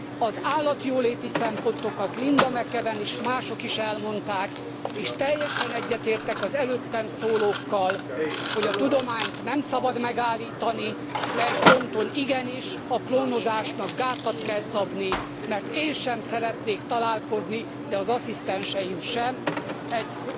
Az állatjóléti szempontokat Linda McAvan is, mások is elmondták, és teljesen egyetértek az előttem szólókkal, hogy a tudományt nem szabad megállítani, de egy ponton igenis, a klónozásnak gátat kell szabni, mert én sem szeretnék találkozni, de az asszisztenseim sem egy